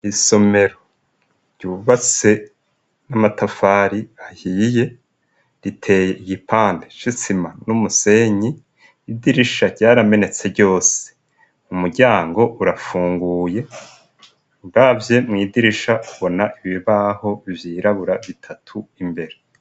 Isomero ryubatse n'amatafari ahiye, riteye igipande c'isima n'umusenyi. Idirisha ryaramenetse ryose. Umuryango urapfunguye, uravye mw' idirisha ubona ibibaho vyirabura bitatu imbere.